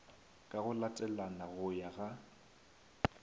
ka go latelana go ya